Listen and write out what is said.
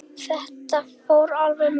Þetta fór alveg með ömmu.